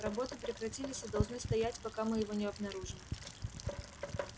работы прекратились и должны стоять пока мы его не обнаружим